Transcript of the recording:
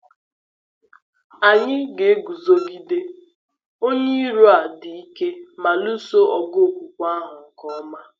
Anyị ga-eguzogide onye iro a dị ike ma “lụso ọgụ okwukwe ahụ nke ọma.”